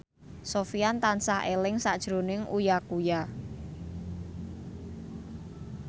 Sofyan tansah eling sakjroning Uya Kuya